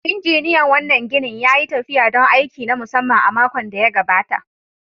Injiniyan wannan ginin ya yi tafiya don aiki na musamman a makon da ya gabata.